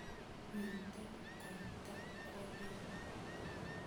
Wirten koita kwobii